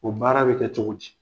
O baara be kɛ cogo di?